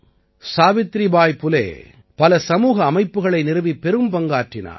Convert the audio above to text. சாவித்ரிபாய் புலே பல சமூக அமைப்புக்களை நிறுவிப் பெரும்பங்காற்றினார்